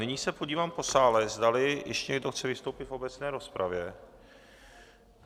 Nyní se podívám po sále, zdali ještě někdo chce vystoupit v obecné rozpravě.